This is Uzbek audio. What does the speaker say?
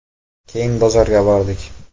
Keyin bozorga bordik.